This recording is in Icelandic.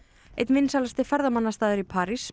einn vinsælasti ferðamannastaður í París